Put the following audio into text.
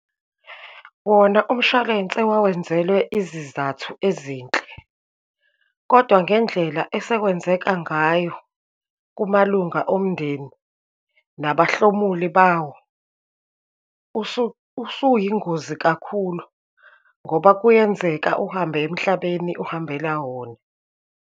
Wona umshwalense wawenzelwe izizathu ezinhle, kodwa ngendlela esekwenzeka ngayo kumalunga omndeni, nabahlomuli bawo. Usuyingozi kakhulu ngoba kuyenzeka uhambe emhlabeni, uhambela wona.